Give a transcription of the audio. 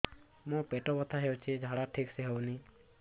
ମୋ ପେଟ ବଥା ହୋଉଛି ଝାଡା ଠିକ ସେ ହେଉନି